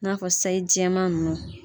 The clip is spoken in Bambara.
N'a fɔ sayi jɛman ninnu